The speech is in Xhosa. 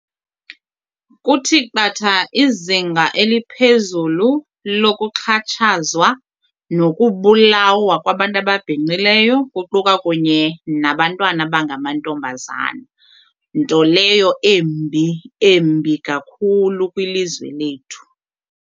Kuthi qatha izinga eliphezulu lokuxhatshazwa nokubulawa kwabantu ababhinqileyo kuquka kunye nabantwana abangamantombazana nto leyo embi embi kakhulu kwilizwe lethu.